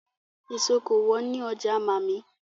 Èso kò wọ́n ní ọjà màmí.